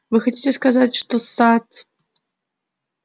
вы хотите сказать что сатт